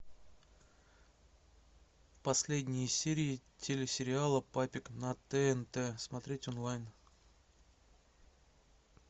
последние серии телесериала папик на тнт смотреть онлайн